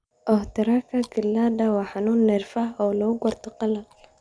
Ohtaharaka ciladha waa xanuun neerfaha ah oo lagu garto qalal.